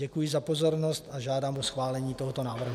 Děkuji za pozornost a žádám o schválení tohoto návrhu.